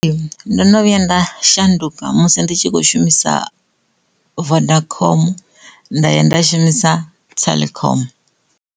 Ndo no vhuya nda shanduka musi ndi tshi kho shumisa vodacom nda ya nda shumisa telkom.